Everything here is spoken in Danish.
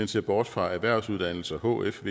ser bort fra erhvervsuddannelser hf